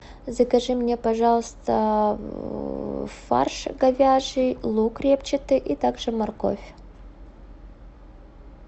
закажи мне пожалуйста фарш говяжий лук репчатый и также морковь